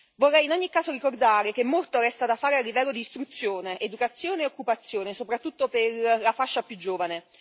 Vorrei in ogni caso ricordare che molto resta da fare a livello di istruzione, educazione e occupazione, soprattutto per la fascia più giovane.